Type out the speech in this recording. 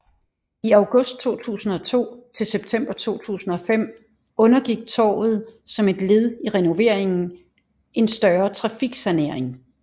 I august 2002 til september 2005 undergik torvet som et led i renoveringen en større trafiksanering